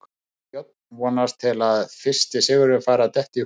Brynjar Björn vonast til að fyrsti sigurinn fari að detta í hús.